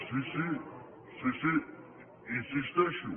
sí sí hi insisteixo